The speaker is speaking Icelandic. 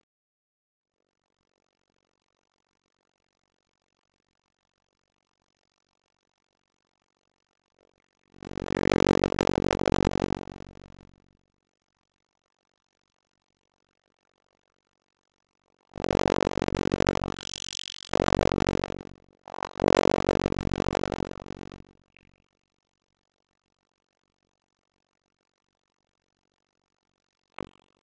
Jú, hún er söngkonan